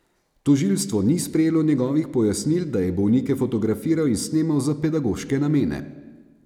Tožilstvo ni sprejelo njegovih pojasnil, da je bolnike fotografiral in snemal za pedagoške namene.